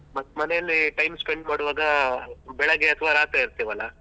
ಮತ್ತ್ ಮನೇಲಿ time spend ಮಾಡುವಾಗ ಬೆಳಗ್ಗೆ ಅಥ್ವ ರಾತ್ರಿ ಇರ್ತೇವಲಾ.